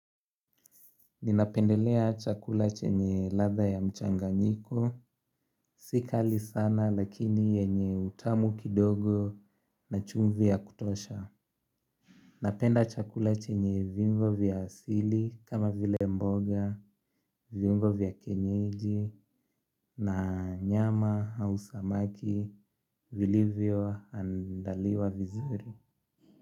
Ninapendelea chakula chenye latha ya mchanganyiko. Sikali sana lakini yenye utamu kidogo na chumvi ya kutosha. Napenda chakula chenye viungo vya asili kama vile mboga, viungo vya kienyeji na nyama au samaki vilivyo andaliwa vizuri.